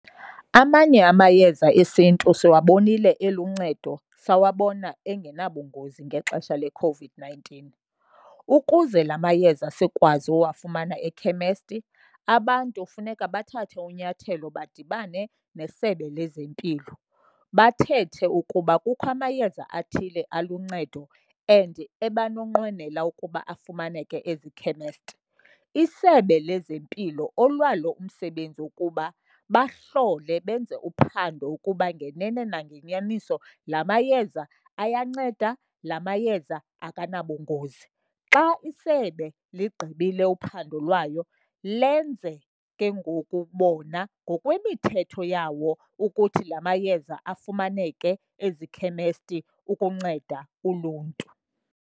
Amanye amayeza esiNtu siwabonile eluncedo, sawabona engenabungozi ngexesha leCOVID-nineteen. Ukuze la mayeza sikwazi uwafumana ekhemesti, abantu funeka bathathe unyathelo badibane neSebe lezeMpilo, bathethe ukuba kukho amayeza athile aluncedo and ebanonqwenela ukuba afumaneke ezikhemesti. ISebe lezeMpilo olwalo umsebenzi ukuba bahlole benze uphando ukuba ngenene nangenyaniso la mayeza ayanceda, la mayeza akanabungozi. Xa isebe ligqibile uphando lwayo lenze ke ngoku bona ngokwemithetho yawo ukuthi la mayeza afumaneke ezikhemesti ukunceda uluntu.